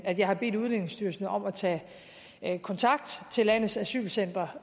at jeg har bedt udlændingestyrelsen om at tage kontakt til landets asylcentre